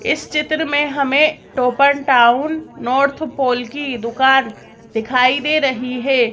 इस चित्र में हमें टाउन नॉर्थ पोल की दुकान दिखाई दे रही है।